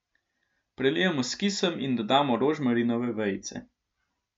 Prelijemo s kisom in dodamo rožmarinove vejice.